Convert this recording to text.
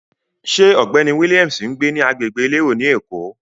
Ṣé ọ̀gbẹ́ni Williams ń gbé ní agbègbè elérò ni Èkó?